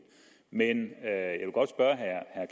men